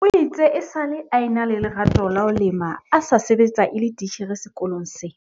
o itse esale a ena le lerato la ho lema a sa sebetsa e le titjhere sekolong se